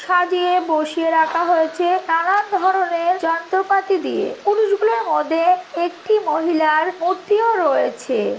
সাজিয়ে বসিয়ে রাখা হয়েছে নানান ধরণের যন্ত্রপাতি দিয়ে। পুরুষগুলার মধ্যে একটি মহিলার মূর্তিও রয়েছে।